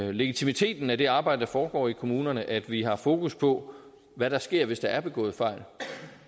og legitimiteten af det arbejde der foregår i kommunerne at vi har fokus på hvad der sker hvis der er begået fejl